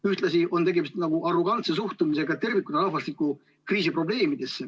Ühtlasi on tegemist arrogantse suhtumisega tervikuna rahvastikukriisi probleemidesse.